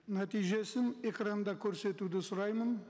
нәтижесін экранда көрсетуді сұраймын